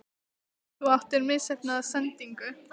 Þú áttir misheppnaða sendingu?